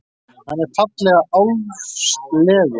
Hann er fallega álfslegur.